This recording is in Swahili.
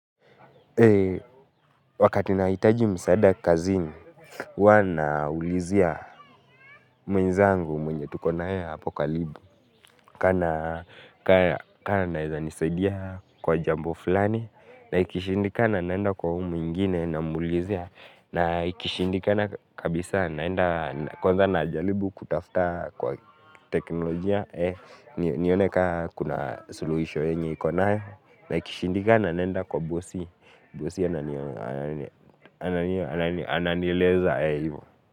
Wakati nahitaji msaada kazini, huwa naulizia mwenzangu mwenye tuko na yeye hapo karibu. Ka anaeza nisaidia kwa jambo fulani, na ikishindikana naenda kwa huu mwingine namuulizia. Na ikishindikana kabisa naenda kwanza najaribu kutafuta kwa teknolojia, nione ka kuna suluhisho yenye iko nayo. Na ikishindikana naenda kwa bosi, bosi ananieleza hivo.